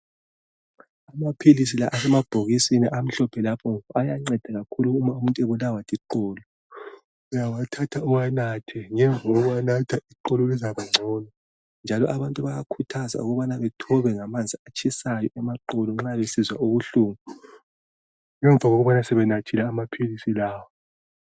Amaphilisi la asemabhokisini amhlophe lapho ayanceda kakhulu uma umuntu ebulawa liqolo. Uyawathatha uwanathe, ngemva kokuwanatha iqolo lizabangcono. Njalo, abantu bayakhuthazwa ukubana bethobe ngamanzi atshisayo amaqolo nxa besizwa ubuhlungu, ngemva kokubana sebenathile amaphilisilawa.